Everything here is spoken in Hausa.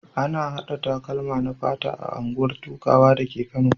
Ana haɗa takalma na fata a unguwar Dukawa dake Kano.